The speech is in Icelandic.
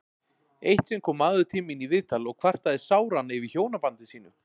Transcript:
Eitt sinn kom maður til mín í viðtal og kvartaði sáran yfir hjónabandi sínu.